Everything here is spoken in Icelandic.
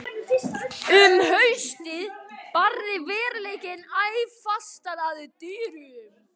Um haustið barði veruleikinn æ fastar að dyrum.